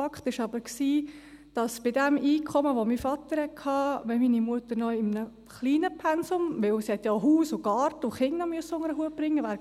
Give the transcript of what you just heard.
Fakt war aber, dass sie bei dem Einkommen, das mein Vater hatte, in der Progression gestiegen wären, wenn meine Mutter noch mit einem kleinen Pensum – denn sie musste ja auch Haus und Garten und Kinder unter einen Hut bringen – wäre